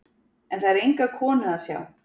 En það er enga konu að sjá.